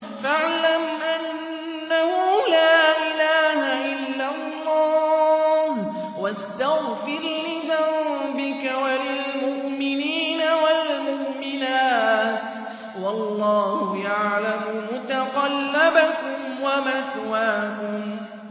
فَاعْلَمْ أَنَّهُ لَا إِلَٰهَ إِلَّا اللَّهُ وَاسْتَغْفِرْ لِذَنبِكَ وَلِلْمُؤْمِنِينَ وَالْمُؤْمِنَاتِ ۗ وَاللَّهُ يَعْلَمُ مُتَقَلَّبَكُمْ وَمَثْوَاكُمْ